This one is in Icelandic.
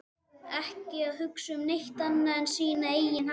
Ekki að hugsa um neitt annað en sína eigin hagsmuni!